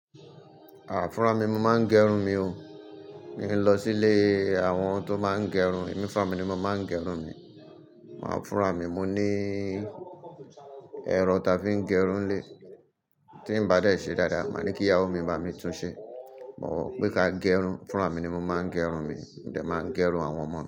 Àh fúnrà mi mo máa ń gẹrun mi o. Mi i lọ silé àwọn tó máa ń gẹrun. Emi fúnra mì ni mo máa ń gẹrun mi. Maa fúnra mi, mo ní ẹro táa fi ń gẹrun nilé. Tí n bá dẹ́ ṣe dáadáa, màá ní kìyàwó mi bá mi tún ṣe. But pé ká gẹrun, fúnra mi ni mo máa ń gẹrun mi. Mo dẹ́ máa n gẹrun àwọn ọmọ mi.